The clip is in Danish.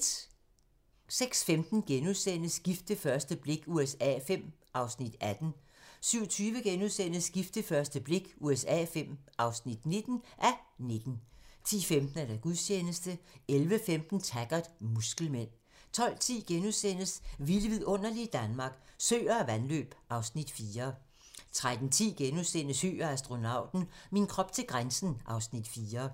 06:15: Gift ved første blik USA V (18:19)* 07:20: Gift ved første blik USA V (19:19)* 10:15: Gudstjeneste 11:15: Taggart: Muskelmænd 12:10: Vilde vidunderlige Danmark - Søer og vandløb (Afs. 4)* 13:10: Høgh og astronauten - min krop til grænsen (Afs. 4)*